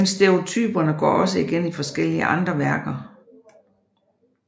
Men stereotyperne går også igen i forskellige andre værker